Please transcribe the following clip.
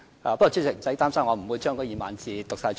不過，主席，不用擔心，我不會將那2萬字全部讀出來。